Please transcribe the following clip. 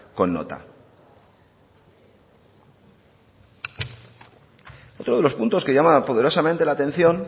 con nota otro de los puntos que llamaba poderosamente la atención